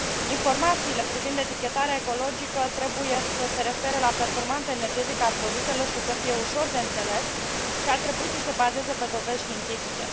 Informațiile privind etichetarea ecologică trebuie să se refere la performanța energetică a produselor și să fie ușor de înțeles și ar trebui să se bazeze pe dovezi științifice.